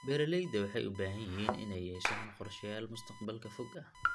Beeralayda waxay u baahan yihiin inay yeeshaan qorshayaal mustaqbalka fog ah.